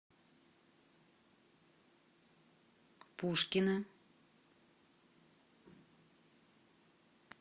пушкина